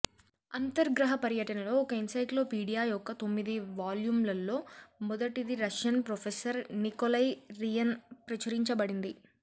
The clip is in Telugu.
అంతర్ గ్రహ పర్యటనలో ఒక ఎన్సైక్లోపెడియా యొక్క తొమ్మిది వాల్యూమ్లలో మొదటిది రష్యన్ ప్రొఫెసర్ నికోలై రియిన్ ప్రచురించబడింది